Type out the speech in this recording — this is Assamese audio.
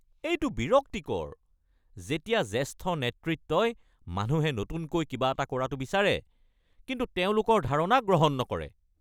এইটো বিৰক্তিকৰ যেতিয়া জ্যেষ্ঠ নেতৃত্বই মানুহে নতুনকৈ কিবা এটা কৰাটো বিচাৰে কিন্তু তেওঁলোকৰ ধাৰণা গ্ৰহণ নকৰে।